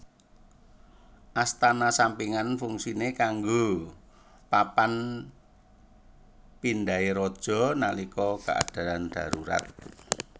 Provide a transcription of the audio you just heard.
Astana sampingan fungsine kanggo papan pindhahe raja nalika keadaan darurat